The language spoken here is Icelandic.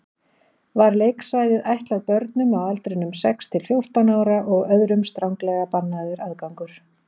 Var leiksvæðið ætlað börnum á aldrinum sex til fjórtán ára og öðrum stranglega bannaður aðgangur.